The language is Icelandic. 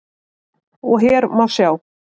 og hér má sjá